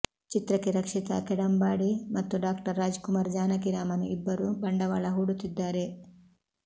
ಚಿತ್ರಕ್ಕೆ ರಕ್ಷಿತಾ ಕೆಡಂಬಾಡಿ ಮತ್ತು Dr Rajkumar Janaki Raman ಇಬ್ಬರು ಬಂಡವಾಳ ಹೂಡುತ್ತಿದ್ದಾರೆ